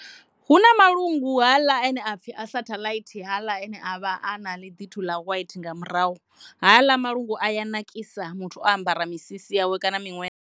Hu na malungu haaḽa a no to pfhi a sathaḽaithi haaḽa ane avha a na ḽi ḓithu ḽa waithi nga murahu haaḽa malungu a ya nakisa musi muthu o ambara misisi yawe kana miṅwe.